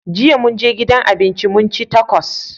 Jiya mun je gidan abinci mun ci takos.